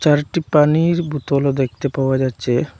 চারটি পানির বোতলও দেখতে পাওয়া যাচ্ছে।